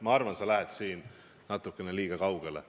Ma arvan, et sa lähed natukene liiga kaugele.